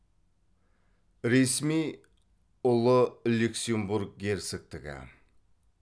ресми ұлы люксембург герцогтігі